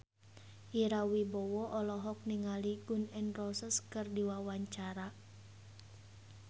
Ira Wibowo olohok ningali Gun N Roses keur diwawancara